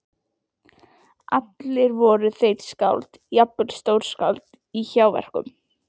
Allir voru þeir skáld, jafnvel stórskáld- í hjáverkum.